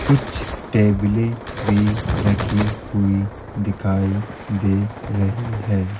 कुछ टेबलें भी रखी हुई दिखाई दे रही है।